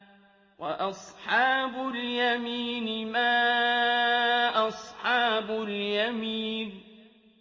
وَأَصْحَابُ الْيَمِينِ مَا أَصْحَابُ الْيَمِينِ